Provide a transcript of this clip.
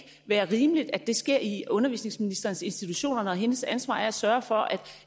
være rimeligt at det sker i undervisningsministerens institutioner når hendes ansvar er at sørge for at